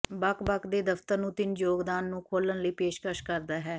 ਬਕ ਬਕ ਦੇ ਦਫ਼ਤਰ ਨੂੰ ਤਿੰਨ ਯੋਗਦਾਨ ਨੂੰ ਖੋਲ੍ਹਣ ਲਈ ਪੇਸ਼ਕਸ਼ ਕਰਦਾ ਹੈ